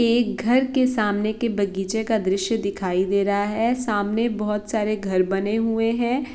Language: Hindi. एक घर के सामने के बगीचे का दृश्य दिखाई दे रहा है सामने बोहोत सारे घर बने हुए है ।